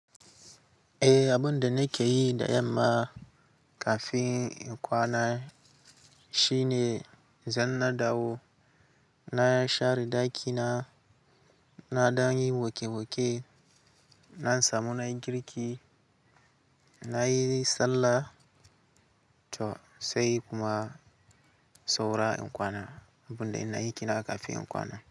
Eh abinda nakeyi da yamma kafin in kwana shine zan na dawo, na share dakina, naɗan yi wanke wanke, na samu nayi girki, nayi sallah to sai kuma saura in kwana. Abun da ina yike nan kafin in kwana.